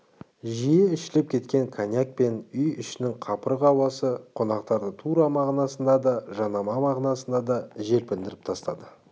жиі ішіліп кеткен коньяк пен үй ішінің қапырық ауасы қонақтарды тура мағынасында да жанама мағынасында да желпіндіріп тастады